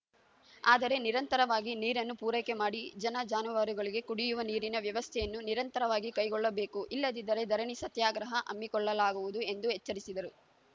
ಆದರೆ ನಿರಂತರವಾಗಿ ನೀರನ್ನು ಪೂರೈಕೆ ಮಾಡಿ ಜನ ಜಾನುವಾರುಗಳಿಗೆ ಕುಡಿಯುವ ನೀರಿನ ವ್ಯವಸ್ಥೆಯನ್ನು ನಿರಂತರವಾಗಿ ಕೈಗೊಳ್ಳಬೇಕು ಇಲ್ಲದಿದ್ದರೆ ಧರಣಿ ಸತ್ಯಾಗ್ರಹ ಹಮ್ಮಿಕೊಳ್ಳಲಾಗುವುದು ಎಂದು ಎಚ್ಚರಿಸಿದರು